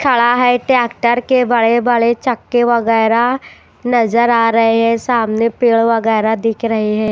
खड़ा है ट्रैक्टर के बड़े बड़े चक्के वगैरह नजर आ रहे हैं सामने पेड़ वगैरह दिख रहे हैं।